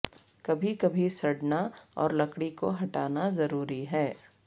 کبھی کبھی سڑنا اور لکڑی کو ہٹانا ضروری ہے